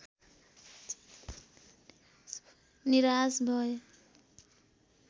निराश भए